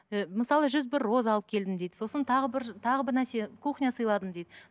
і мысалы жүз бір роза алып келдім дейді сосын тағы бір тағы бір нәрсе кухня сыйладым дейді